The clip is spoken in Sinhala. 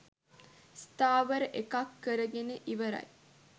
ස්ථාවර එකක් කරගෙන ඉවරයි.